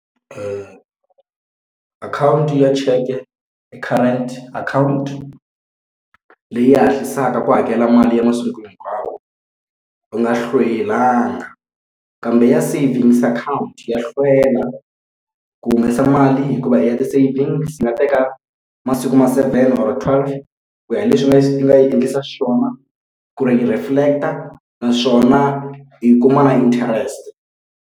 Akhawunti ya cheke i akhawunti leyi hatlisaka ku hakela mali ya masiku hinkwawo, u nga hlwelanga. Kambe ya savings account ya hlwela ku humesa mali hikuva ya ti-savings yi nga teka masiku ma seven or twelve ku ya hi leswi ni u nga yi endlisa xiswona ku ri yi reflect-a naswona yi kuma na interest.